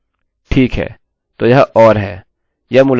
ठीक है तो यह or है